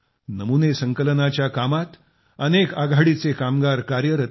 नमुने संकलनाच्या कामात अनेक आघाडीचे कामगार कार्यरत आहेत